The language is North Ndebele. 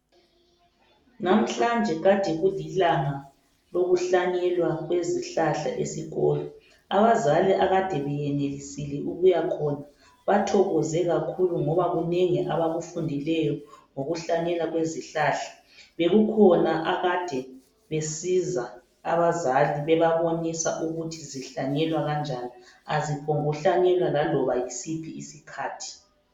Namhlanje kade kulilanga lokuhlanyelwa kwezihlahla esikolo, abazali akade benelisile ukuya khona bathokoze kakhulu ngoba kunengi abakufundileyo ngokuhlanyelwa kwezihlahla. Bekukhona akade besiza abazali bebabonisa ukuthi zihlanyelwa kanjani aziphombu kuhlanyelwa laloba yisiphi isikhathi.